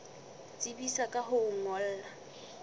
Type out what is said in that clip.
tsebisa ka ho o ngolla